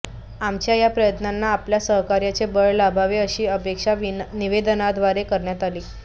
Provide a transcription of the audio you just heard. आमच्या या प्रयत्नांना आपल्या सहकार्याचे बळ लाभावे अशी अपेक्षा निवेदनाद्वारे करण्यात आली